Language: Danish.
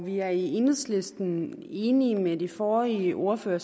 er i enhedslisten enige med de forrige ordførere